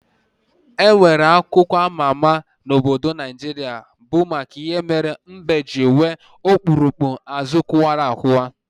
Enwere akụkọ ama ama na obodo Naijiria bụ maka ihe mbe ji nwee okpurukpu azụ kụwa akụwa